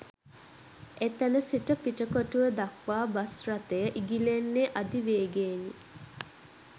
එතැන සිට පිටකොටුව දක්වා බස් රථය ඉගිලෙන්නේ අධි වේගයෙනි